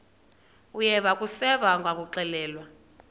uyeva akuseva ngakuxelelwa